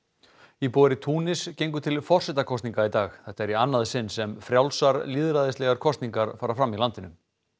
íbúar í Túnis gengu til forsetakosninga í dag þetta er í annað sinn sem frjálsar lýðræðislegar kosningar fara fram í landinu